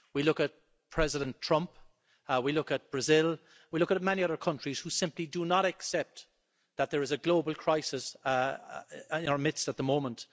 We look at President Trump, we look at Brazil, we look at many other countries which simply do not accept that there is a global crisis in our midst at the moment.